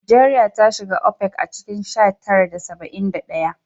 Najeriya ta shiga OPEC a cikin sha tara da saba'in da ɗaya